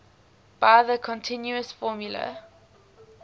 by the continuous formula